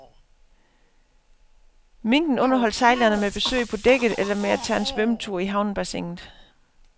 Minken underholdt sejlerne med besøg på dækket eller med at tage sig en svømmetur i havnebassinet.